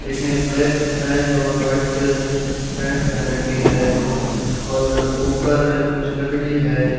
एक ने black pant और वाइट पैंट पहन रखी है और ऊपर कुछ लकड़ी है।